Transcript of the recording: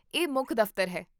ਇਹ ਮੁੱਖ ਦਫ਼ਤਰ ਹੈ